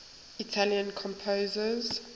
italian composers